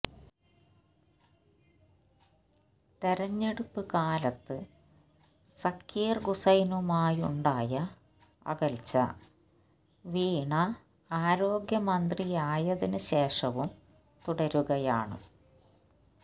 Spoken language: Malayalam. തെരഞ്ഞെടുപ്പ് കാലത്ത് സക്കീർ ഹൂസൈനുമായുണ്ടായ അകൽച്ച വീണ ആരോഗ്യമന്ത്രിയായതിന് ശേഷവും തുടരുകയാണ്